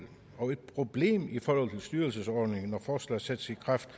og et problem i forhold til styrelsesordningen når forslag sættes i kraft